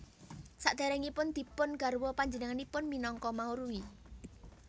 Sakderengipun dipun garwa panjenenganipun minangka Maurwi